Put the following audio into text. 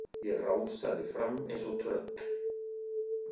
Ég rásaði fram eins og tröll.